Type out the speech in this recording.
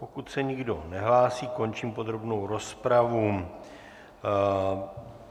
Pokud se nikdo nehlásí, končím podrobnou rozpravu.